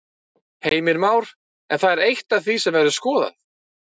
Heimir Már: En það er eitt af því sem verður skoðað?